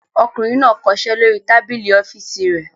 Ọkùnrin náà kọṣẹ́ lórí tábìlì ọ́fíísì rẹ̀.